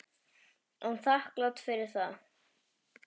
Er þakklát fyrir það.